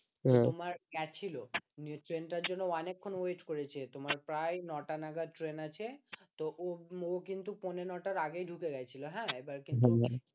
তোমার গেছিল ট্রেন টার জন্য অনেকক্ষণ wait করেছে তোমার প্রায় ন টা নাগাদ ট্রেন আছে তো ও কিন্তু পৌনে নটার আগেই ঢুকে ঢুকে গেছিল হ্যাঁ